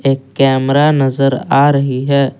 एक कैमरा नजर आ रही है।